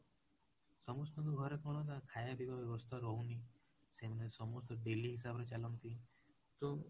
ସମସ୍ତଙ୍କ ଘରେ କଣ ନା ଖାଇବା ପିଇବା ବ୍ୟବସ୍ଥା ରହୁନି, ସେମାନେ ସମସ୍ତେ daily ହିସାବରେ ଚାଲନ୍ତି ତ